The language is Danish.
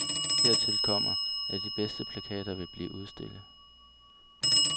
Hertil kommer, at de bedste plakater vil blive udstillet.